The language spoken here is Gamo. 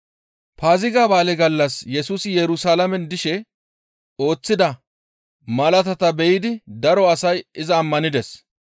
Paaziga ba7aale gallas Yesusi Yerusalaamen dishe ooththida malaatata be7idi daro asay iza ammanides.